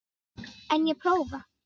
En ég prófa.